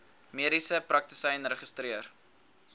mediese praktisyn geregistreer